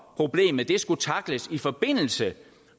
problemet skulle tackles i forbindelse